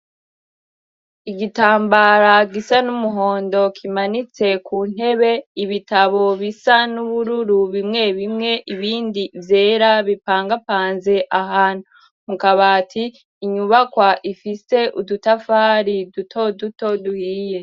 Igitambara gisa n'umuhondo kimanitse ku ntebe ibitabo bisa n'ubururu bimwe bimwe ibindi vyera bipangapanze ahantu mukabati inyubakwa ifise udutafari duto duto duhiye.